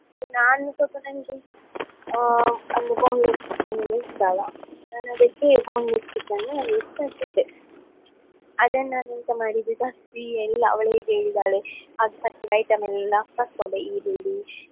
ನಾನು ಸ್ವಲ್ಪ ನಂಗೆ ಆ ಅಂದ್ರೆ boneless chicken ಅಂದ್ರೆ ಇಷ್ಟ ಅಲ್ಲಾ ನಾನ್ ಅದಕ್ಕೆ boneless chicken ಅದನ್ನ್ ನಾನೆಂತ ಮಾಡಿದ್ ತರ್ಸಿ ಎಲ್ಲಾ ಅವ್ಳು ಹೇಗೆ ಹೇಳಿದ್ದಾಳೆ ಆಗ first ಗೆ item ಎಲ್ಲಾ ಈರುಳ್ಳಿ.